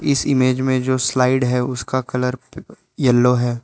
इस इमेज में जो स्लाइड है उसका कलर यल्लो है।